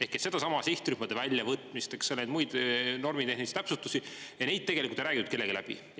Ehk sedasama sihtrühmade väljavõtmist, neid muid normitehnilisi täpsustusi ja neid tegelikult ei räägitud kellegagi läbi.